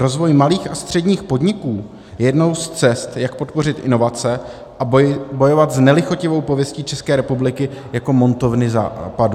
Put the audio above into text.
Rozvoj malých a středních podniků je jednou z cest, jak podpořit inovace a bojovat s nelichotivou pověstí České republiky jako montovny Západu.